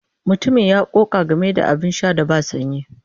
Mutumin ya ƙoƙa game da abin sha da ba sanyi.